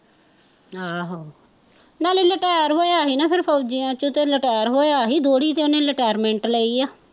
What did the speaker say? ਆਹੋ ਨਾਲੇ ਲਟੈਰ ਹੋਇਆ ਸੀ ਨਾ ਫੌਜੀਆ ਚੋਂ ਤੇ ਲਟੈਰ ਹੋਇਆ ਸੀ, ਦੋਹਰੀ ਤੇ ਉਹਨੇ ਲਟੈਰਮੈਂਟ ਲਈ ਆ